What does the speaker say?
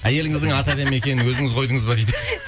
әйеліңіздің аты әдемі екен өзіңіз қойдыңыз ба дейді